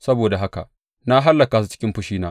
Saboda haka na hallaka su cikin fushina.